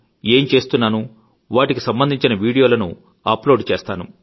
ఏం చేస్తున్నానో వాటికి సంబంధించిన వీడియోలను అప్ లోడ్ చేస్తాను